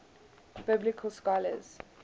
biblical scholars